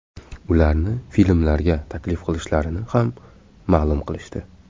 Ularni filmlarga taklif qilishlarini ham ma’lum qilishdi.